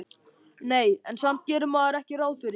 Nei, en samt gerir maður ekki ráð fyrir því